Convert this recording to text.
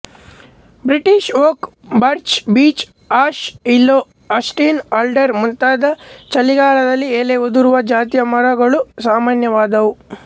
British oak birch beech ash willow aspen alder ಮುಂತಾದ ಚಳಿಗಾಲದಲ್ಲಿ ಎಲೆ ಉದುರುವ ಜಾತಿಯ ಮರಗಳು ಸಾಮಾನ್ಯವಾದುವು